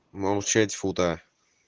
молчать фута